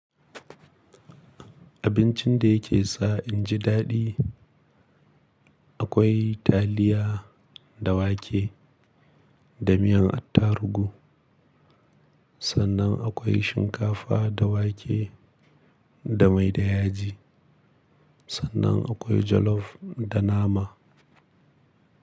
Abincin da yake sa inji daɗi. Akwai taliya da wake da miyan attarugu, sannan akwai shinkafa da wake da mai da yaji, sannan akwai jollof da nama.